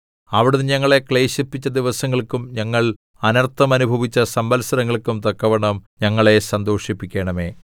അവിടുന്ന് ഞങ്ങളെ ക്ലേശിപ്പിച്ച ദിവസങ്ങൾക്കും ഞങ്ങൾ അനർത്ഥം അനുഭവിച്ച സംവത്സരങ്ങൾക്കും തക്കവണ്ണം ഞങ്ങളെ സന്തോഷിപ്പിക്കണമേ